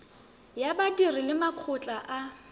ya badiri le makgotla a